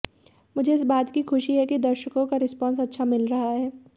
मुझे इस बात की खुशी है कि दर्शकों का रिस्पांस अच्छा मिल रहा है